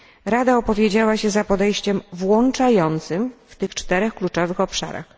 Rada opowiedziała się za podejściem włączającym w tych czterech kluczowych obszarach.